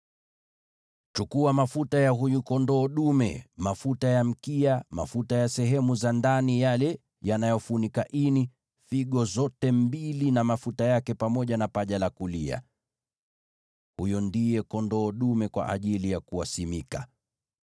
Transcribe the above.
“Chukua mafuta ya huyu kondoo dume, mafuta ya mkia, mafuta ya sehemu za ndani yale yanayofunika ini, figo zote mbili na mafuta yake, pamoja na paja la kulia. (Huyo ndiye kondoo dume kwa ajili ya kuwaweka wakfu.)